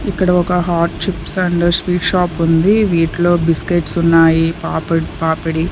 ఇక్కడ ఒక hot chips and sweet shop ఉంది వీటిలో బిస్కెట్స్ ఉన్నాయి పాపిడ్-- పాపిడి.